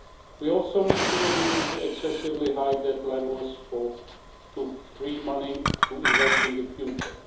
We also need to reduce the excessively high debt levels to free money to invest in the future.